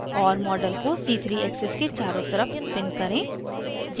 और model को c3 axis के चारों तरफ spin करें